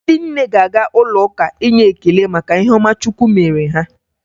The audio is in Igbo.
Ndị nne ga-aga n'ụlọụka inye ekele maka ihe ọma chukwu mere ha.